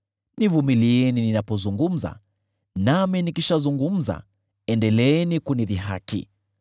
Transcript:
Nivumilieni ninapozungumza, nami nikishazungumza, endeleeni kunidhihaki.